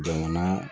Jamana